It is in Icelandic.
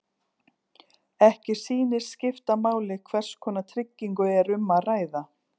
Ekki sýnist skipta máli hvers konar tryggingu er um að ræða.